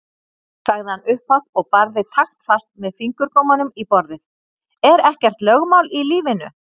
sagði hann upphátt og barði taktfast með fingurgómunum í borðið:-Er ekkert lögmál í lífinu!